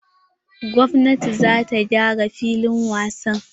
Gwamnatin za ta gyara filin wasa.